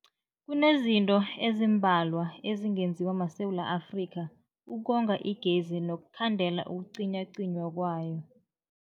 Kunezinto ezimbalwa ezingenziwa maSewula Afrika ukonga igezi nokukhandela ukucinywacinywa kwayo.